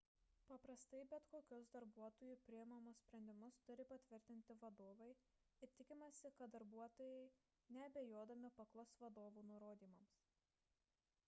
paprastai bet kokius darbuotojų priimamus sprendimus turi patvirtinti vadovai ir tikimasi kad darbuotojai neabejodami paklus vadovų nurodymams